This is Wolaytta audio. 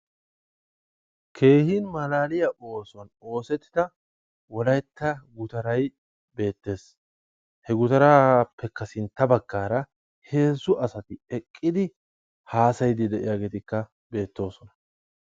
Keehi malaaliya oosuwan oosettida Wolaytta gutaray beettees. He gutarasppekka sintta baaggaara hezzu asati eqqidi haasayiiddikka de'iyageeti beettoosona